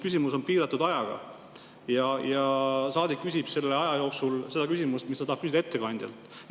Küsimuse aeg on piiratud ja saadik küsib selle aja jooksul seda, mida ta tahab küsida ettekandjalt.